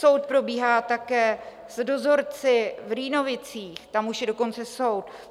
Soud probíhá také s dozorci v Rýnovicích, tam už je dokonce soud.